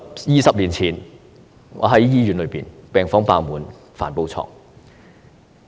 二十年前，我在醫院工作，病房爆滿，需加開帆布床。